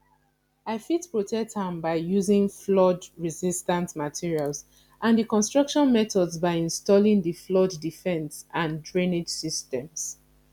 i fit protect am by using floodresistant materials and di construction methods by installing di flood defense and drainage systems